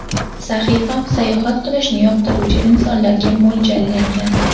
Sahifam-sayohat qilishni yoqtiruvchi insonlarga mo‘ljallangan.